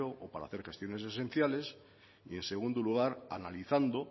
o para hacer gestiones esenciales y en segundo lugar analizando